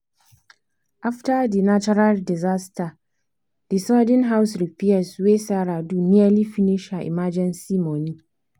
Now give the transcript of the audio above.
after the natural disaster the sudden house repairs wey sarah do nearly finish her emergency money.